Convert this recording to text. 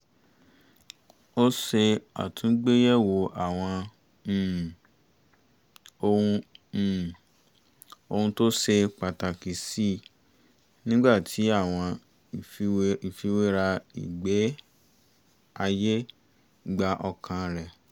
ó ṣe àtungbéyẹ̀wo àwọn um ohun um ohun tó ṣe pàtàkì síi nígbà tí àwọn ìfiwéra ìgbé-ayé gba ọkàn rẹ̀